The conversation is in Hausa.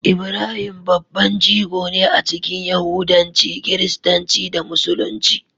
Ibrahim babban jigo ne a cikin Yahudanci, Kiristanci, da Musulunci.